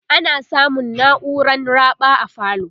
ana samun nauran raɓa a falo